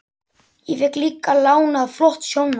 Ég fékk líka lánað flott sjónvarp.